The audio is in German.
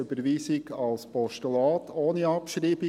Überweisung als Postulat ohne Abschreibung.